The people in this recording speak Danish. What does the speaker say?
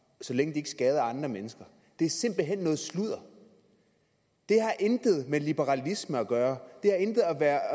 så længe de ikke skader andre mennesker det er simpelt hen noget sludder det har intet med liberalisme at gøre det har intet at